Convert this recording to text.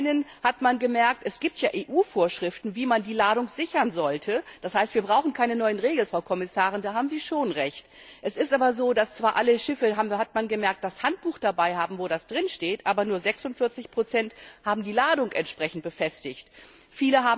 Zum einen hat man gemerkt, es gibt zwar EU Vorschriften, wie man die Ladung sichern sollte, das heißt, wir brauchen keine neue Regeln, Frau Kommissarin, da haben Sie schon Recht, es ist aber so, dass zwar alle Schiffe das Handbuch dabei haben, wo das drin steht, aber nur 46 die Ladung entsprechend befestigt haben.